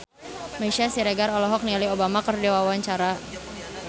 Meisya Siregar olohok ningali Obama keur diwawancara